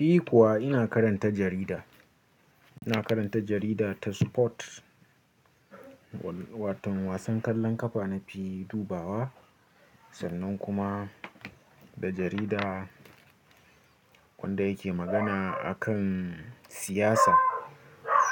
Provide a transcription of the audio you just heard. Ni kuwa ina karanta jarida, ina karanta jarida ta sport, watan wasan kwallon kafa nafi dubawa sannan kuma da jarida wanda yake magana akan siyasa.